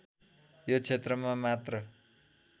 यो क्षेत्रमा मात्र